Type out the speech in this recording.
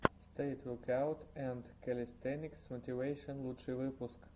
стрит векаут энд кэлистэникс мотивэйшен лучший выпуск